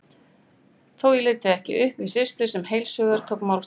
Þó ég léti það ekki uppi við Systu, sem heilshugar tók málstað